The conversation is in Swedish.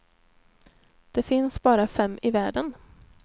Det finns bara fem i världen.